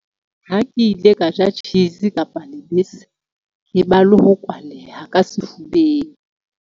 Ha ke ile ka ja cheese kapa lebese, ke ba le ho kwaleha ka sefubeng.